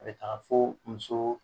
A bɛ taga fo musoo